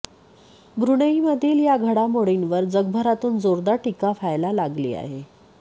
ब्रुनेईमधील या घडामोडींवर जगभरातून जोरदार टीका व्हायला लागली आहे